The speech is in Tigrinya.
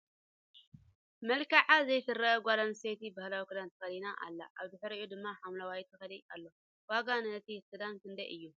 መልክዓ ዘይትርአ ጋል ኣንስተይቲ ባህላዊ ክዳን ተከዲና ኣላ ኣብ ድሕሪአ ድማ ሓምለዋይ ተኽሊ ኣሎ ። ዋጋ ንይቲ ክዳን ክንደይ እዩ ?